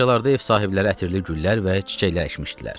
Bu bağçalarda ev sahibləri ətirli güllər və çiçəklər əkmişdilər.